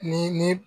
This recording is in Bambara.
Ni ni